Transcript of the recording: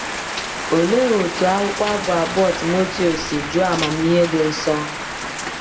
Olee otú akwụkwọ Abụ abụọ Timoteo si juo amamihe dị nsọ!